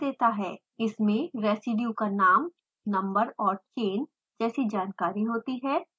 इसमें residue का नाम नंबर और चेन जैसी जानकारी होती है